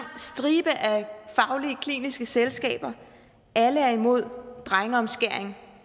stribe af faglige kliniske selskaber alle er imod drengeomskæring